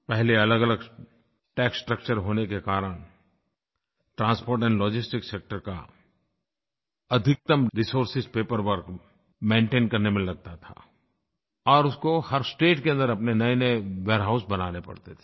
पहले अलगअलग tax structure होने के कारण ट्रांसपोर्ट एंड लॉजिस्टिक्स सेक्टर का अधिकतम रिसोर्स पेपरवर्क मेंटेन करने में लगता था और उसको हर स्टेट के अन्दर अपने नयेनये वेयरहाउस बनाने पड़ते थे